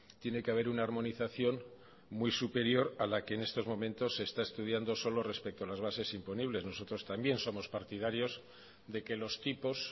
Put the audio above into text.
tiene que haber una armonización muy superior a la que en estos momentos se está estudiando solo respecto a las bases imponibles nosotros también somos partidarios de que los tipos